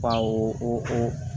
Ka o